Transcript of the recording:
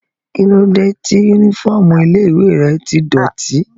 Kíló dé yúnífọ́ọ̀mù ilé-ìwé rẹ tí dọ̀ọ̀tí?